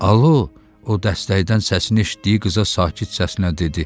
Alo, o dəstəkdən səsini eşitdiyi qıza sakit səslə dedi.